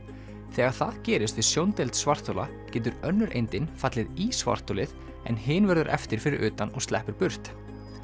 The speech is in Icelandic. þegar það gerist við svarthola getur önnur fallið í svartholið en hin verður eftir fyrir utan og sleppur burt